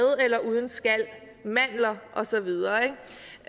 eller uden skal mandler og så videre